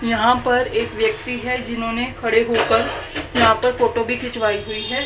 यहां पर एक व्यक्ति है जिन्होंने खड़े होकर यहां पर फोटो भी खिंचवाई हुई है।